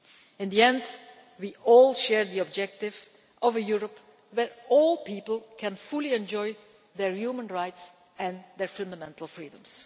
In the end, we all share the objective of a Europe where all people can fully enjoy their human rights and fundamental freedoms.